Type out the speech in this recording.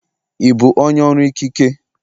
Ị bụ onye ọrụ ikike?